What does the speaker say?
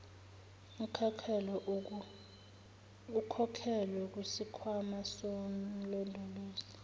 ekhokhelwe kusikhwama somlondolozi